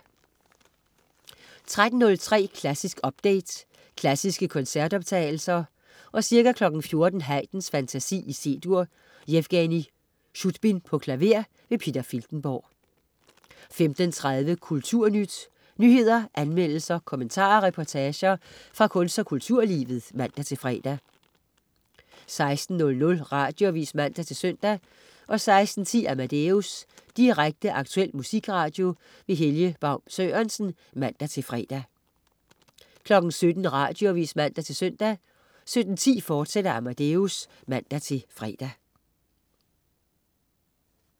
13.03 Klassisk update. Klassiske koncertoptagelser. Ca. 14.00 Haydn: Fantasi, C-dur. Jevgenij Sudbin, klaver. Peter Filtenborg 15.30 Kulturnyt. Nyheder, anmeldelser, kommentarer og reportager fra kunst- og kulturlivet (man-fre) 16.00 Radioavis (man-søn) 16.10 Amadeus. Direkte, aktuel musikradio. Helge Baun Sørensen (man-fre) 17.00 Radioavis (man-søn) 17.10 Amadeus, fortsat (man-fre)